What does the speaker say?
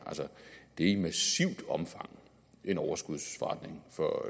det er i massivt omfang en overskudsforretning for